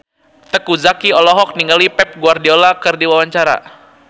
Teuku Zacky olohok ningali Pep Guardiola keur diwawancara